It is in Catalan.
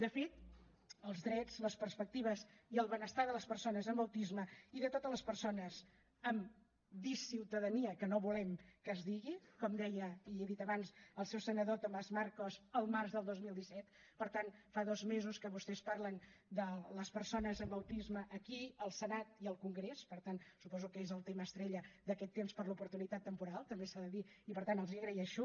de fet els drets les perspectives i el benestar de les persones amb autisme i de totes les persones amb disciutadania que no volem que es digui com deia i he dit abans el seu senador tomás marcos al març del dos mil disset per tant fa dos mesos que vostès parlen de les persones amb autisme aquí al senat i al congrés per tant suposo que és el tema estrella d’aquest temps per l’oportunitat temporal també s’ha de dir i per tant els ho agreixo